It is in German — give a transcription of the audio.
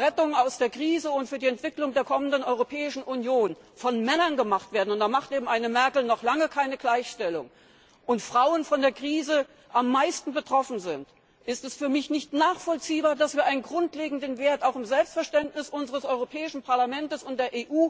Rettung aus der Krise und für die Entwicklung der kommenden Europäischen Union von Männern gemacht werden und da macht eben eine Merkel noch lange keine Gleichstellung und Frauen von der Krise am meisten betroffen sind, ist es für mich nicht nachvollziehbar, dass wir einen grundlegenden Wert auch im Selbstverständnis unseres Europäischen Parlaments und der EU